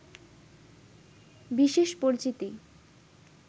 বিশেষ পরিচিতি